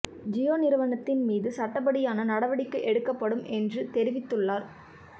ஜியோ நிறுவனத்தின் மீது சட்டப்படியான நடவடிக்கை எடுக்கப்படும் என்றும் தெரிவித்துள்ளார்